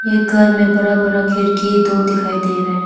एक घर में बड़ा बड़ा खिड़की दो दिखाई दे रहे है।